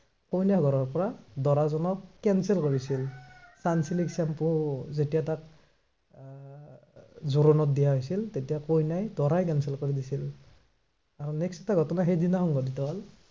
কইনা ঘৰৰ পৰা দৰাজনক cancel কৰিছিল, চানচিল্ক shampoo যেতিয়া তাত উম জোৰণত দিয়া হৈছিল, তেতিয়া কইনাই, দৰাই cancel কৰি দিছিল। next এটা ঘটনা সেইদিনা সংঘটিত হল।